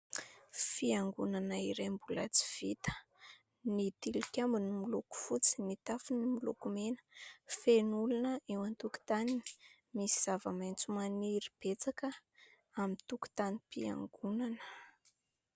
Fiangonana iray mbola tsy vita, ny tilikambony miloko fotsy, ny tafony miloko mena, feno olona eo an-tokotany, misy zava-maitso maniry betsaka amin'ny tokotanim-piangonana.